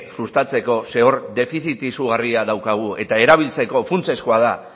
sustatzeko zeren hor defizit izugarria daukagu eta erabiltzeko funtsezkoa da